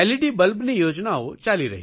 બલ્બની યોજનાઓ ચાલી રહી છે